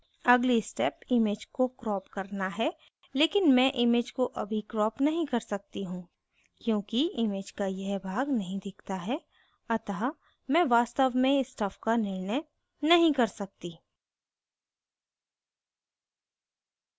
अगली step image को crop करना है लेकिन मैं image को अभी crop नहीं कर सकती हूँ क्योंकि image का यह भाग नहीं दिखता है अतः मैं वास्तव में stuff का निर्णय नहीं कर सकती